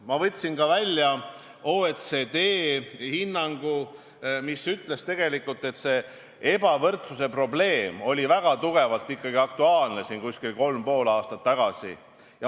Ma võtsin ka välja OECD hinnangu, mis ütles, et see ebavõrdsuse probleem oli ikkagi väga tugevalt aktuaalne kolm ja pool aastat tagasi.